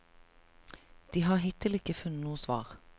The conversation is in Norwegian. De har hittil ikke funnet noe svar.